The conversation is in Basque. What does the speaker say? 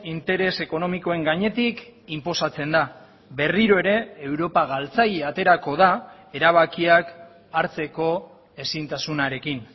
interes ekonomikoen gainetik inposatzen da berriro ere europa galtzaile aterako da erabakiak hartzeko ezintasunarekin